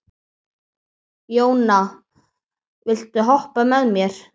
Jóna, viltu hoppa með mér?